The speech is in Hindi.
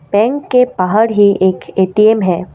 बैंक के बाहर ही एक ए_टी_एम है ।